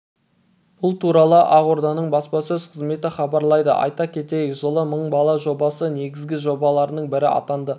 бұл туралы ақорданың баспасөз қызметі хабарлайды айта кетейік жылы мың бала жобасы негізгі жобаларының бірі атанады